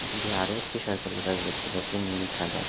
দূরে আরো একটি সরকারি বাস দেখতে পাচ্ছি নীল সাদা।